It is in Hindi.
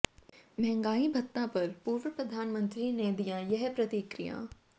महंगाई भत्ता पर पूर्व प्रधानमंत्री ने दिया यह प्रतिक्रिया